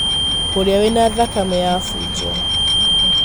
ũrĩa wĩna thakame ya funjo.